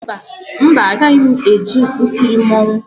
Mba, agaghị m eje ikiri mmanwụ